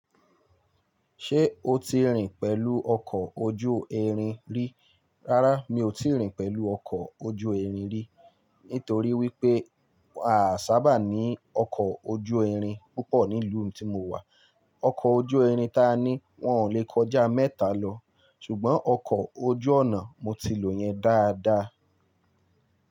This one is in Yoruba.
Ṣé o ti rìn pẹ̀lú ọkọ̀ ojú irin rí? Rárá mi ò ti rìn pẹ̀lú ọkọ̀ ojú irin rí, nítorí wípé a sábà ní ọkọ̀ ojú irin púpọ̀ ní ìlú tí mo wà. Ọkọ̀ ojú irin ta ní wọn ò lè kọjá mẹ́ta lọ. Ṣùgbọ́n ọkọ̀ ojú ọ̀nà mo ti lò yẹn dáadáa.